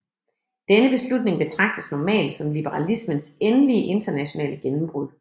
Denne beslutning betragtes normalt som liberalismens endelige internationale gennembrud